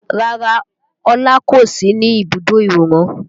Rárá Ọlá kò sí ní ibùdó ìwòran